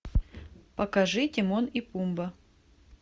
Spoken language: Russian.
покажи тимон и пумба